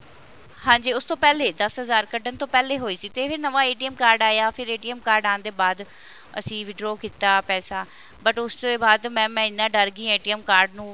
ਹਾਂਜੀ ਉਸ ਤੋਂ ਪਹਿਲੇ ਦਸ ਹਜ਼ਾਰ ਕੱਢਣ ਤੋਂ ਪਹਿਲੇ ਹੋਈ ਸੀ ਤੇ ਇਹ ਨਵਾਂ card ਆਇਆ ਫਿਰ card ਆਣ ਦੇ ਬਾਅਦ ਅਸੀਂ withdraw ਕੀਤਾ ਪੈਸਾ but ਉਸ ਤੋਂ ਬਾਅਦ mam ਮੈਂ ਇੰਨਾ ਡਰ ਗਈ card ਨੂੰ